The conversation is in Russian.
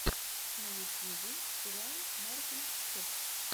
на ютьюбе сериал мартин ф